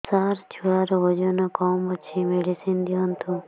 ସାର ଛୁଆର ଓଜନ କମ ଅଛି ମେଡିସିନ ଦିଅନ୍ତୁ